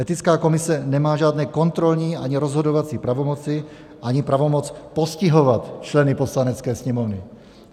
Etická komise nemá žádné kontrolní ani rozhodovací pravomoci, ani pravomoc postihovat členy Poslanecké sněmovny.